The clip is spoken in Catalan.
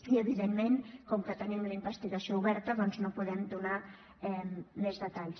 i evidentment com que tenim la investigació oberta doncs no en podem donar més detalls